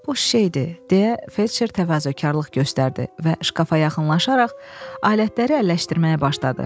Boş şeydir, deyə fetsher təvazökarlıq göstərdi və şkafa yaxınlaşaraq alətləri əlləşdirməyə başladı.